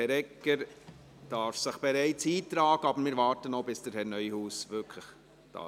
Herr Egger darf sich bereits in die Rednerliste eintragen, wir warten jedoch noch kurz auf Regierungsrat Neuhaus.